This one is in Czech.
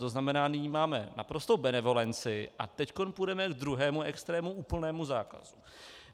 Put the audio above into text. To znamená, nyní máme naprostou benevolenci, a teď půjdeme ke druhému extrému, úplnému zákazu.